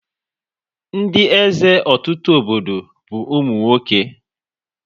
Ndị eze ọtụtụ obodo bụ ụmụ nwoke